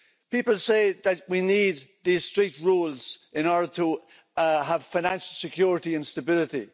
People say that we need these strict rules in order to have financial security and stability.